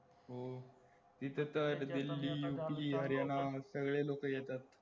होऊ इथे तर दिल्ली UP हरियाणा सगळे लोकं येतात